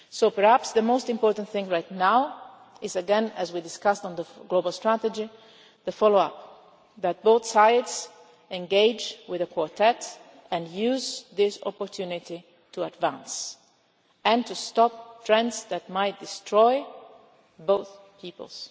negotiations. Perhaps the most important thing right now is, as we discussed in relation to the global strategy, the follow up that both sides engage with the Quartet and use this opportunity to advance and to stop trends that might destroy